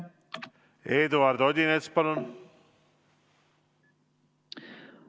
Eduard Odinets, palun!